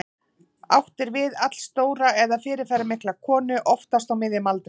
Átt er við allstóra eða fyrirferðarmikla konu, oftast á miðjum aldri.